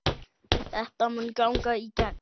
Þetta mun ganga í gegn.